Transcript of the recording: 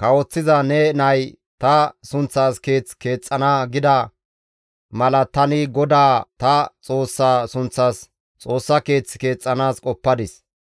kawoththiza ne nay ta sunththas Keeth keexxana› gida mala tani GODAA ta Xoossaa sunththas Xoossa keeth keexxanaas qoppadis.